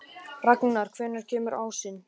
Ragnar, hvenær kemur ásinn?